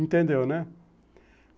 Entendeu, né?